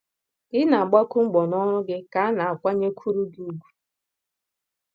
Ka ị na - agbakwu mbọ n’ọrụ gị ka a na - akwanyekwuru gị ùgwù.